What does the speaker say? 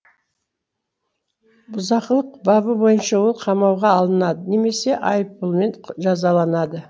бұзақылық бабы бойынша ол қамауға алынады немесе айыппұлмен жазаланады